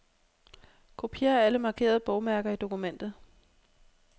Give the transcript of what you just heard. Kopier alle markerede bogmærker i dokumentet.